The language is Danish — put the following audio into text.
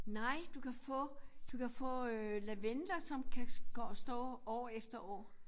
Nej du kan få du kan få øh lavendler som kan stå år efter år